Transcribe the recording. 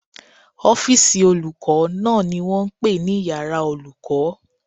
Ọ́fìsì olùkọ́ náà ni wọ́n pè ní iyàrá olùkọ́